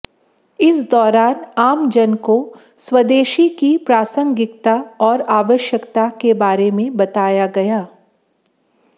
इस दौरान आमजन को स्वदेशी की प्रासंगिकता और आवश्यकता के बारे में बताया गया